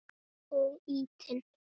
Og ýtinn.